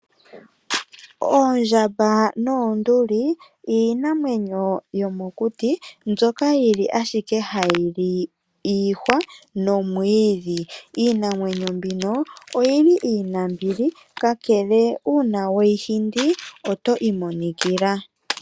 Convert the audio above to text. Oondjamba noonduli iinamawenyo yomokuti mbyoka yili ashike hayi li ashike iihwa nomwiidhi. Iinamwenyo mbino oyili iinambili ka kele uuna we yi hindi oto imonikila.